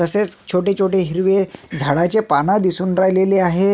तसेच छोटे छोटे हिरवे झाडाचे पाने दिसून राहिलेले आहे.